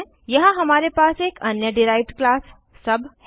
यहाँ हमारे पास एक अन्य डिराइव्ड क्लास सुब है